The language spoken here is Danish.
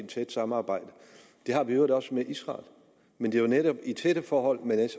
tæt samarbejde det har vi i øvrigt også med israel men det er jo netop i tætte forhold man